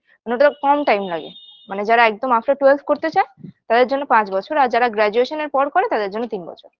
না ওটায় কম time লাগে মানে যারা একদম after twelve করতে চায় তাদের জন্য পাঁচ বছর আর যারা graduation -এর পর করে তাদের জন্য তিন বছর